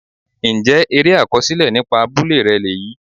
Ǹjẹ́ eré àkọsílẹ̀ nípa abúlé rẹ lèyí?